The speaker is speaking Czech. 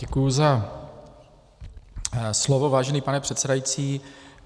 Děkuji za slovo, vážený pane předsedající.